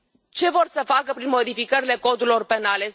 Ce vor să facă prin modificările codurilor penale?